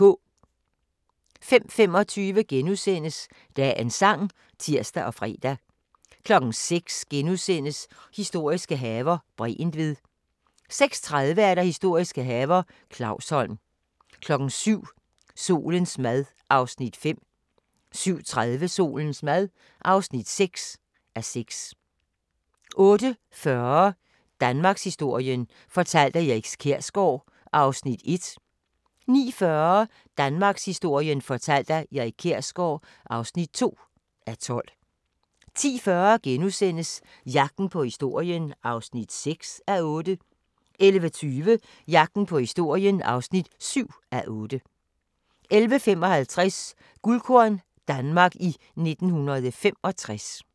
05:25: Dagens sang *(tir og fre) 06:00: Historiske haver - Bregentved * 06:30: Historiske haver – Clausholm 07:00: Solens mad (5:6) 07:30: Solens mad (6:6) 08:40: Danmarkshistorien fortalt af Erik Kjersgaard (1:12) 09:40: Danmarkshistorien fortalt af Erik Kjersgaard (2:12) 10:40: Jagten på historien (6:8)* 11:20: Jagten på historien (7:8) 11:55: Guldkorn - Danmark i 1965